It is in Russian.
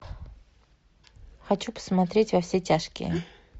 хочу посмотреть во все тяжкие